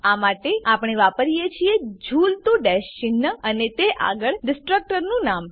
આ માટે આપણે વાપરીએ છીએ ઝૂલતું ડેશ ચિન્હ અને તે આગળ ડીસ્ટ્રકટરનું નામ